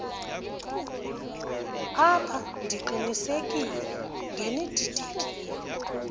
apha ndiqinisekile ngenididekile